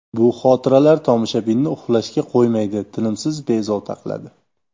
Bu xotiralar tomoshabinni uxlashga qo‘ymaydi, tinimsiz bezovta qiladi.